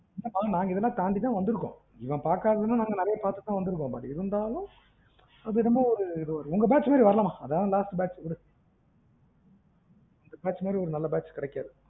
நாங்க இதலாம் தாண்டி தான் வந்துருக்கோம் இவன் பாக்காததுலாம் நாங்க பாத்து தான் வந்துருக்கோம் but இருந்தாலும் அது என்னமோ உங்க batch மாதுரி வரல மா அதான் last batch விடு